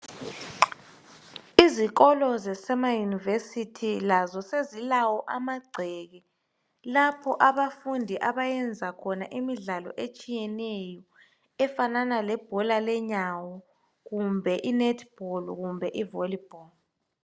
izikolo zasema university lazo sezilawo amagceke lapho abafundi abayenza khona imidlalo etshiyeneyo efanana lebhola lenyawo kumbe i netball kumbe i volley ball